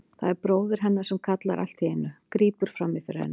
Það er bróðir hennar sem kallar allt í einu, grípur fram í fyrir henni.